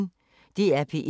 DR P1